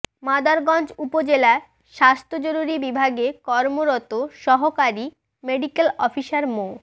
মাদারগঞ্জ উপজেলা স্বাস্থ্য জরুরী বিভাগে কর্মরত সহকারী মেডিক্যাল অফিসার মো